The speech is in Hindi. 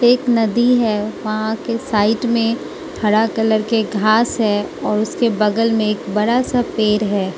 एक नदी हैं वहां के साइड में हरा कलर के घास है और उसके बगल में एक बड़ा सा पेड़ है।